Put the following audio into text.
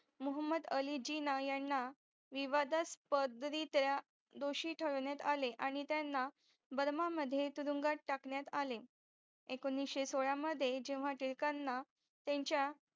महुम्दअली जिना यांना विवाद्स पद रित्या दोषी ठरवण्यातआणि त्यांना आले बळमा मध्ये तुरुंगात टाकण्यात आले एकोणीशे सोळा मध्ये जेव्हा टिळकांना त्यांचा